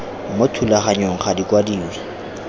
mo thulaganyong ga di kwadiwe